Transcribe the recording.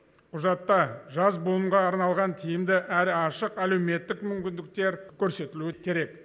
құжатта жас буынға арналған тиімді әрі ашық әлеуметтік мүмкіндіктер көрсетілуі керек